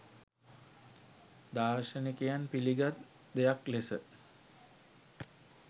දාර්ශනිකයන් පිළිගත් දෙයක් ලෙස